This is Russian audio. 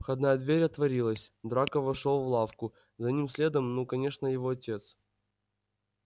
входная дверь отворилась драко вошёл в лавку за ним следом ну конечно его отец